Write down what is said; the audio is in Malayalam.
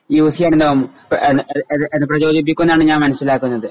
യൂസ് ചെയ്യുമ്പം അപ്പൊ എര എര എര ഞാൻ മനസിലാക്കുന്നത്.